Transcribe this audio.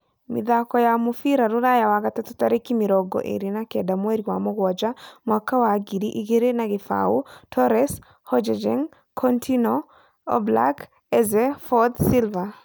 Mĩthako ya mũbira Rũraya Wagatatũ tarĩki mĩrongo ĩĩrĩ na kenda mweri wa Mũgwaja mwaka wa ngiri igĩri na kĩbaũ:Torres, Hojbjerg, Coutinho, Oblak, Eze, Foyth, Silva